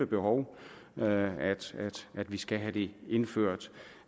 behov at vi skal have det indført